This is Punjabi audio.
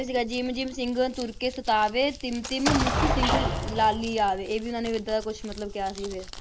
ਸੀਗਾ, ਜਿਮ ਜਿਮ ਸਿੰਘਨ ਤੁਰਕ ਸਤਾਵੈ, ਤਿਮ ਤਿਮ ਮੁਖ ਸਿੰਘ ਲਾਲੀ ਆਵੈ, ਇਹ ਵੀ ਉਹਨਾਂ ਨੇ ਏਦਾਂ ਦਾ ਕੁਛ ਮਤਲਬ ਕਿਹਾ ਸੀ ਫਿਰ।